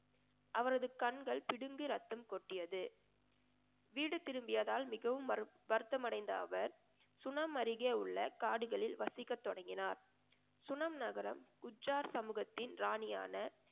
அவரது கண்கள் பிடுங்கி ரத்தம் கொட்டியது வீடு திரும்பியதால் மிகவும் வரு~ வருத்தம் அடைந்த அவர் சுனம் அருகே உள்ள காடுகளில் வசிக்க தொடங்கினார். சுனம் நகரம் உச்சார் சமூகத்தின் ராணியான